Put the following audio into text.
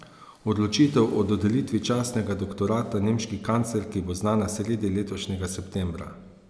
Odločitev o dodelitvi častnega doktorata nemški kanclerki bo znana sredi letošnjega septembra.